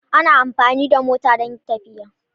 Ana amfani da mota don tafiya.